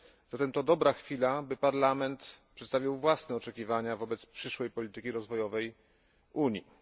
Zatem to dobra chwila, by Parlament przedstawił własne oczekiwania wobec przyszłej polityki rozwojowej Unii.